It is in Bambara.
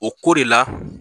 O ko de la